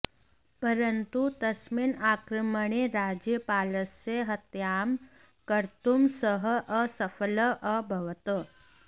परन्तु तस्मिन् आक्रमणे राज्यपालस्य हत्यां कर्तुं सः असफलः अभवत्